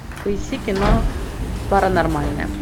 поищи кино паранормальное